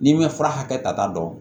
N'i m'i fura hakɛ ta dɔɔni